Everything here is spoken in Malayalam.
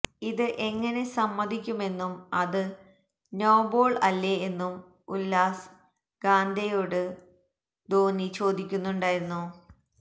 ഇത് എങ്ങനെ സമ്മതിക്കുമെന്നും അത് നോ ബോള് അല്ലേ എന്നും ഉല്ഹാസ് ഗാന്ധെയോട് ധോനി ചോദിക്കുന്നുണ്ടായിരുന്നു